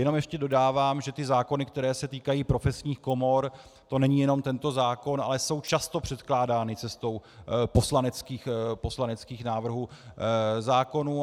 Jenom ještě dodávám, že ty zákony, které se týkají profesních komor, to není jenom tento zákon, ale jsou často předkládány cestou poslaneckých návrhů zákonů.